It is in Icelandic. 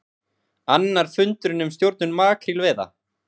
Annar fundurinn um stjórnun makrílveiða